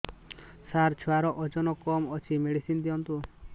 ସାର ଛୁଆର ଓଜନ କମ ଅଛି ମେଡିସିନ ଦିଅନ୍ତୁ